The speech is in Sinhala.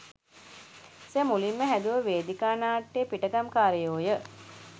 සර් මුලින්ම හැදුව වේදිකා නාට්‍යය පිටගම්කාරයෝ ය.